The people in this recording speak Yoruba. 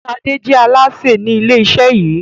Ṣade jẹ́ Alásè ni ilé iṣẹ yìí